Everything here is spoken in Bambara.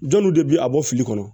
Jɔn nun de bi a bɔ fili kɔnɔ